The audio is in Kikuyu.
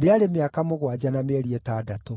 rĩarĩ mĩaka mũgwanja na mĩeri ĩtandatũ.